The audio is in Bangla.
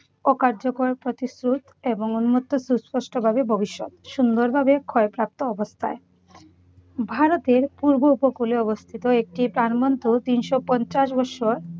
অকার্যকর প্রতিশ্রুত এবং উন্মুক্ত সুস্পষ্টভাবে ভবিষ্যৎ, সুন্দরভাবে ক্ষয়প্রাপ্ত অবস্থায়। ভারতের পূর্ব উপকূলে অবস্থিত একটি প্রাণবন্ত তিনশো পঞ্চাশ বছর